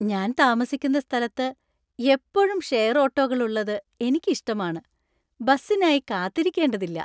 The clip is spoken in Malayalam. ഞാൻ താമസിക്കുന്ന സ്ഥലത്ത് എപ്പോഴും ഷെയർ ഓട്ടോകൾ ഉള്ളത് എനിക്ക് ഇഷ്ടമാണ്, ബസിനായി കാത്തിരിക്കേണ്ടതില്ല.